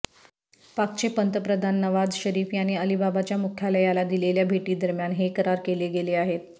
पाकचे पंतप्रधान नवाझ शरीफ यांनी अलिबाबाच्या मुख्यालयाला दिलेल्या भेटीदरम्यान हे करार केले गेले आहेत